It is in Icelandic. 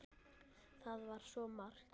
Það var svo margt.